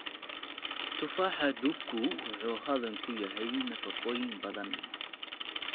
Tufaaxa duku wuxuu hodan ku yahay nafaqooyin badan.